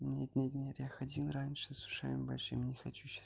нет-нет-нет я ходил раньше с ушами большими не хочу сейчас